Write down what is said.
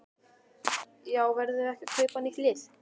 Já verðum við ekki að kaupa nýtt lið?